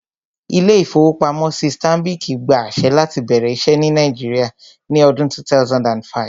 Ilé-ìfowópamọ́sí Stanbic gba àṣẹ láti bẹ̀rẹ̀ iṣẹ́ ní Nàìjíríà ní ọdún 2005